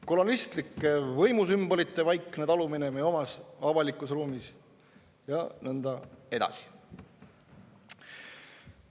Kolonistlike võimusümbolite vaikne talumine meie omas avalikus ruumis, ja nõnda edasi.